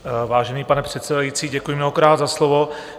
Vážený pane předsedající, děkuji mnohokrát za slovo.